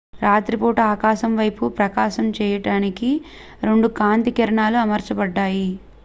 రాత్రిపూట ఆకాశం వైపు ప్రకాశింపచేయడానికి 2 కాంతి కిరణాలు అమర్చబడ్డాయి